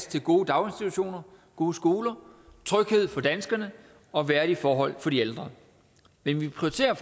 til gode daginstitutioner gode skoler tryghed for danskerne og værdige forhold for de ældre men vi prioriterer